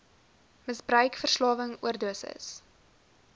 misbruik verslawing oordosis